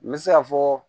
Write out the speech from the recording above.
N bɛ se ka fɔ